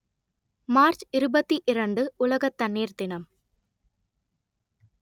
March இருபத்தி இரண்டு உலக தண்ணீர் தினம்